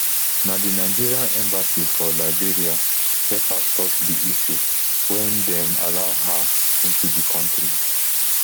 na di nigeria embassy for liberia help her sort di issue wen dem allow her into di kontri